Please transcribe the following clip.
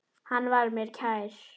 Hann var mér kær.